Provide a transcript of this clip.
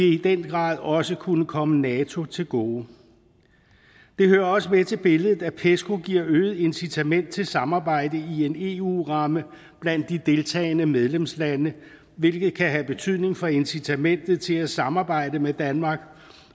i den grad også kunne komme nato til gode det hører også med til billedet at pesco giver øget incitament til samarbejde i en eu ramme blandt de deltagende medlemslande hvilket kan have betydning for incitamentet til at samarbejde med danmark